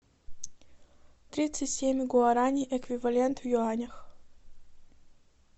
тридцать семь гуарани эквивалент в юанях